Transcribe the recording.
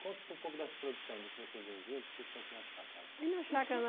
Conta um pouco dessa produção, do que vocês vendiam, o que vocês tinham aqui na chácara? Na chácara